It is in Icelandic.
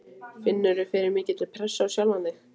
Finnurðu fyrir mikilli pressu á sjálfan þig?